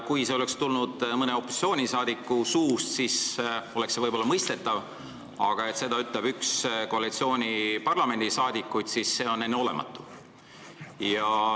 Kui see oleks tulnud mõne opositsiooniliikme suust, siis oleks see võib-olla olnud mõistetav, aga kui seda ütleb üks koalitsiooni kuuluvaid parlamendiliikmeid, siis see on enneolematu.